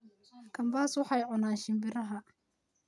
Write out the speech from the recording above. Kambas waxay cunan shimbiraha